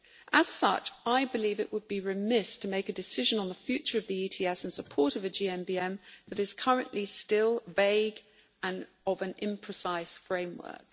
As such, I believe it would be remiss to make a decision on the future of the ETS in support of a GMBM that is currently still vague and of an imprecise framework.